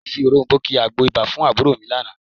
Wọ́n fi òròm̀bó ki àgbo ibà fún àbúrò mi lánàá